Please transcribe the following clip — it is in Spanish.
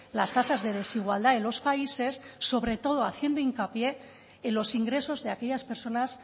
las tasas de desigualdad de los países sobre todo haciendo hincapié en los ingresos de aquellas personas